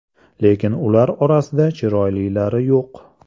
Lekin ular orasida chiroylilari yo‘q.